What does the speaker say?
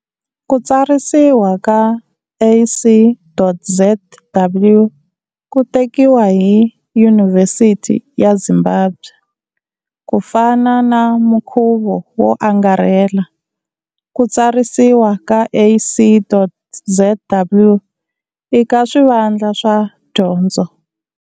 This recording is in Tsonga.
Ku tsarisiwa ka.ac.zw ku tekiwa hi Yunivhesiti ya Zimbabwe. Ku fana na mukhuva wo angarhela, ku tsarisiwa ka.ac.zw i ka swivandla swa dyondzo.